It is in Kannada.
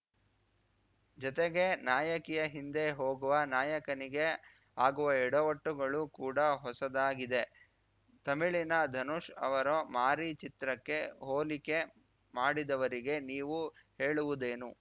ಜತೆಗೆ ನಾಯಕಿಯ ಹಿಂದೆ ಹೋಗುವ ನಾಯಕನಿಗೆ ಆಗುವ ಎಡವಟ್ಟುಗಳು ಕೂಡ ಹೊಸದಾಗಿದೆ ತಮಿಳಿನ ಧನುಷ್‌ ಅವರ ಮಾರಿ ಚಿತ್ರಕ್ಕೆ ಹೋಲಿಕೆ ಮಾಡಿದವರಿಗೆ ನೀವು ಹೇಳುವುದೇನು